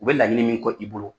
U bɛ laɲini min kɔ i bolo.